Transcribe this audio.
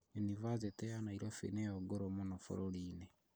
Yunibathĩtĩ ya Nairobi nĩyo ngũrũ mũno bũrũri-inĩ